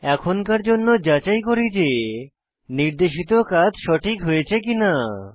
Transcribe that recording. এখনকার জন্য যাচাই করি যে নির্দেশিত কাজ সঠিক হয়েছে কিনা